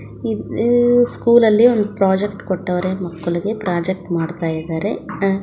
ಇದೂ ಸ್ಕೂಲಲ್ಲಿ ಒಂದು ಪ್ರಾಜೆಕ್ಟ್ ಕೊಟ್ಟವ್ರೆ ಮಕ್ಕಳಿಗೆ ಪ್ರಾಜೆಕ್ಟ್ ಮಾಡ್ತಾ ಇದ್ದಾರೆ.